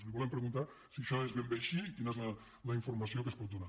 li volem preguntar si això és ben bé així i quina és la informació que ens pot donar